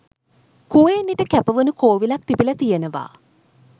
කුවේණිට කැපවුණු කෝවිලක් තිබිලා තියෙනවා